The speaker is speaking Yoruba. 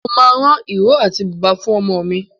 Mo máa rán ìró àti bùbá fún ọmọ mi.